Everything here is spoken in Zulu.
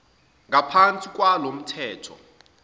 ngaphansi kwalo mthetho